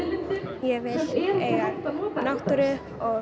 ég vil eiga náttúru